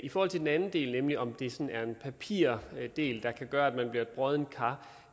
i forhold til den anden del nemlig om det sådan er en papirdel der kan gøre at man bliver et broddent kar